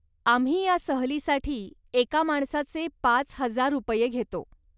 आम्ही ह्या सहलीसाठी एका माणसाचे पाच हजार रुपये घेतो.